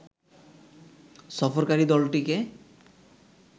সফরকারি দলটিকে